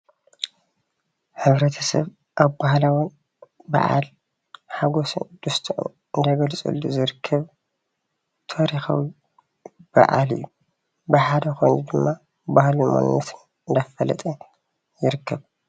ሕብረተሰብ ኣብ ባህላዊ በዓል ሓጎሱን ደስትኡን እንዳገለፀሉ ዝርከብ ታሪካዊ በዓል እዩ ብሓደ ኮይኑ ድማ ባህሉን መንነቱን እንዳፈለጠ ይርከብ ።